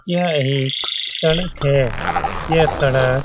यह एक सड़क है यह सड़क --